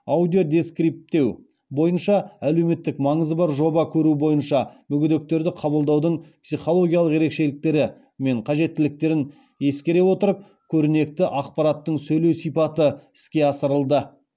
аудиодескриптеу бойынша әлеуметтік маңызы бар жоба көру бойынша мүгедектерді қабылдаудың психологиялық ерекшеліктері мен қажеттіліктерін ескере отырып көрнекі ақпараттың сөйлеу сипаты іске асырылды